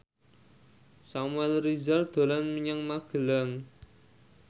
Samuel Rizal dolan menyang Magelang